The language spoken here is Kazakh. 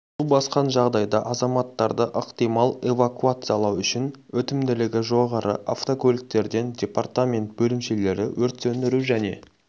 су басқан жағдайда азаматтарды ықтимал эвакуациялау үшін өтімділігі жоғары автокөліктерден департамент бөлімшелері өрт сөндіру және